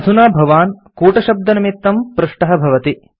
अधुना भवान् कूटशब्दनिमित्तं पृष्टः भवति